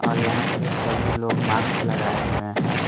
और यहां पे सभी लोग मार्क्स लगाए हुए हैं।